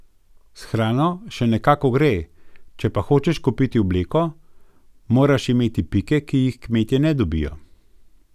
S hrano še nekako gre, če pa hočeš kupiti obleko, moraš imeti pike, ki jih kmetje ne dobijo.